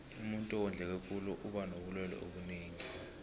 umuntuu owondleke khulu uba nobulelwe obunengi